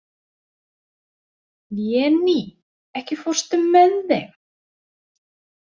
Véný, ekki fórstu með þeim?